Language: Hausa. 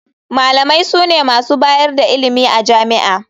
Malamai sune masu bayar da ilimi a jami'a.